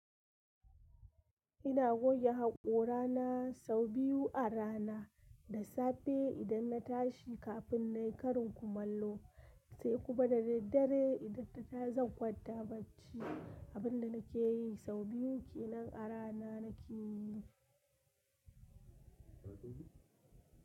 Ina goge haƙorana so biyu a rana, dasafe idan na tashi kafin nayi karin kumallo, sai kuma da daddare idan har zan kwanta bacci. Abin da nake yi sau biyu kenan a rana nake yi ne.